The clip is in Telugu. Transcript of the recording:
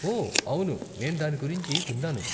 ఓ, అవును, నేను దాని గురించి విన్నాను.